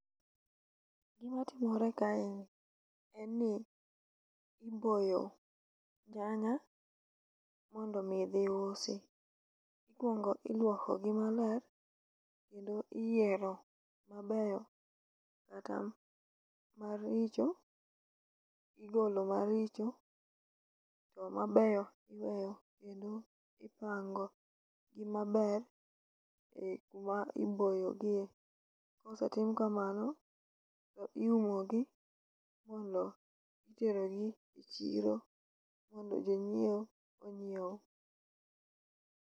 Gima timore kae ni en ni iboyo nyanya mondo mi dhi usi. Ikwongo ilwoko gi maler kendo iyiero mabeyo kata maricho, igolo maricho to mabeyo iweyo ipango gi maber e kuma iboyogie. Kosetim kamano to iumo gi mondo itergo gi e chiro mondo jonyiewo onyiew.